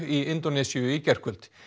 í Indónesíu í gærkvöld